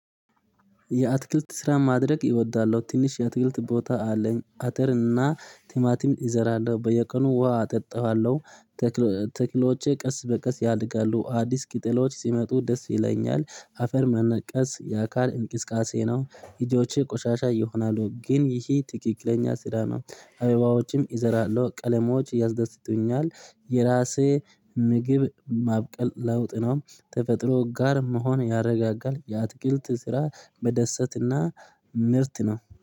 የአትክልት ስራ ማድረግ ይወዳለሁ ትንሽ የትክልት ቦታ አለኝ አተርና ቲማቲም እዘራለሁ በየቀኑ ውሃ አጠጣዋለሁ። ተክሎቼ ቀስ በቀስ ያድጋሉ አዲስ ቅጠሎች ሲመጡ ደስ ይለኛል አፈር መነቀስ የአካል እንቅስቃሴ ነው እጆቼ ቆሻሻ ይሆናሉ ግን ይሄ ትክክለኛ ስራ ነው አበባዎችም እዘራለሁ ቀለሞች ያስደስቱኛል። የራሴ ምግብ ማብቀል ለውጥ ነው። ተፈጥሮ ጋር መሆን ያረጋጋል። የአትክልት ስራ በደሰታና ምርጥ ነው